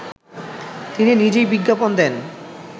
তিনি নিজেই বিজ্ঞাপন দেন